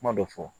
Kuma dɔ fɔ